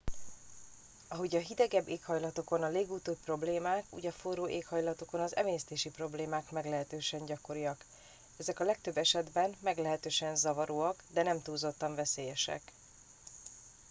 ahogyan a hidegebb éghajlatokon a légúti problémák úgy a forró éghajlatokon az emésztési problémák meglehetősen gyakoriak ezek a legtöbb esetben meglehetősen zavaróak de nem túlzottan veszélyesek